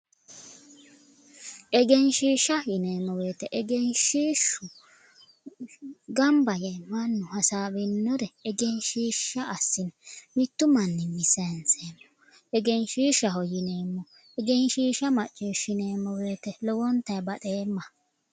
Egenshiishsha yineemmo woyte engenshiishshu gamba yee mannu hasaawinore egenshiishsha assine mittu manniwiinni sayiinsahu egenshiishshaho yineemmo egenshiishsha macciishineemmo woyte lowontanni baxeemma